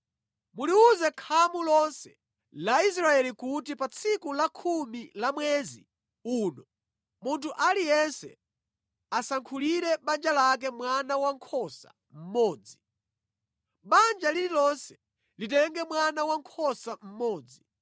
Muliwuze khamu lonse la Israeli kuti pa tsiku la khumi la mwezi uno, munthu aliyense asankhire banja lake mwana wankhosa mmodzi. Banja lililonse litenge mwana wankhosa mmodzi.